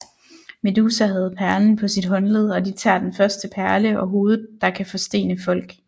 Medusa havde perlen på sit håndled og de tager den første perle og hovedet der kan forstene folk